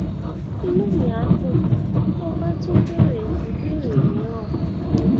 inú mi á dùn tó o bá tún béèrè ìbéèrè mìíràn